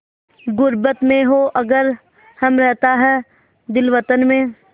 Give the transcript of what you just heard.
ग़ुर्बत में हों अगर हम रहता है दिल वतन में